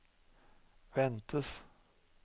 ventes